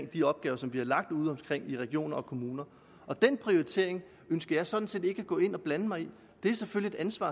i de opgaver som vi har lagt udeomkring i regioner og kommuner og den prioritering ønsker jeg sådan set ikke at gå ind og blande mig i det er selvfølgelig et ansvar